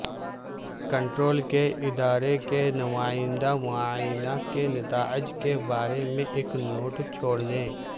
control کے ادارے کے نمائندہ معائنہ کے نتائج کے بارے میں ایک نوٹ چھوڑ دیں